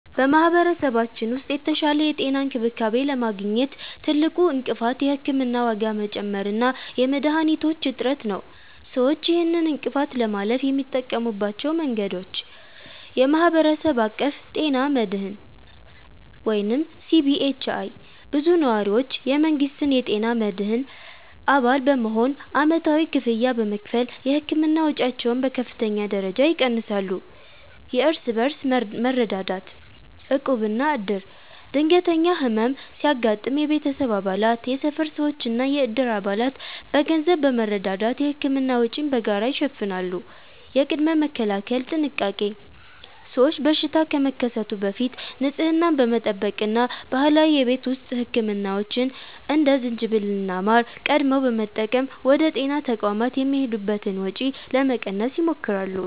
በማኅበረሰባችን ውስጥ የተሻለ የጤና እንክብካቤ ለማግኘት ትልቁ እንቅፋት የሕክምና ዋጋ መጨመር እና የመድኃኒቶች እጥረት ነው። ሰዎች ይህንን እንቅፋት ለማለፍ የሚጠቀሙባቸው መንገዶች፦ የማኅበረሰብ አቀፍ ጤና መድህን (CBHI)፦ ብዙ ነዋሪዎች የመንግሥትን የጤና መድህን አባል በመሆን ዓመታዊ ክፍያ በመክፈል የሕክምና ወጪያቸውን በከፍተኛ ደረጃ ይቀንሳሉ። የእርስ በርስ መረዳዳት (ዕቁብና ዕድር)፦ ድንገተኛ ሕመም ሲያጋጥም የቤተሰብ አባላት፣ የሰፈር ሰዎችና የዕድር አባላት በገንዘብ በመረዳዳት የሕክምና ወጪን በጋራ ይሸፍናሉ። የቅድመ-መከላከል ጥንቃቄ፦ ሰዎች በሽታ ከመከሰቱ በፊት ንጽህናን በመጠበቅ እና ባህላዊ የቤት ውስጥ ሕክምናዎችን (እንደ ዝንጅብልና ማር) ቀድመው በመጠቀም ወደ ጤና ተቋማት የሚሄዱበትን ወጪ ለመቀነስ ይሞክራሉ።